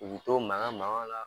U b'u to makan makanw la